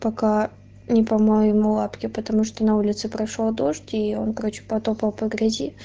пока не помою ему лапки потому что на улице прошёл дождь и он короче прошёл по грязи